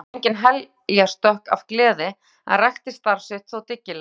Símon fór engin heljarstökk af gleði en rækti starf sitt þó dyggilega.